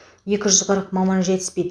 екі жүз қырық маман жетіспейді